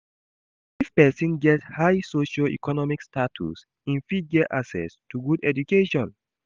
If persin get high socio-economic status im fit get access to good education